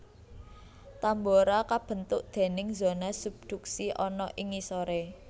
Tambora kabentuk déning zona subduksi ana ing ngisoré